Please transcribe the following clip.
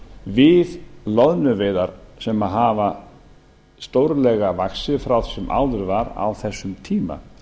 við loðnuveiðar sem hafa stórlega vaxið frá því sem áður var á þessum tíma